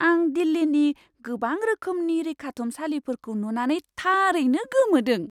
आं दिल्लीनि गोबां रोखोमनि रैखाथुमसालिफोरखौ नुनानै थारैनो गोमोदों!